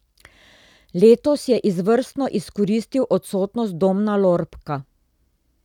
Letos je izvrstno izkoristil odsotnost Domna Lorbka.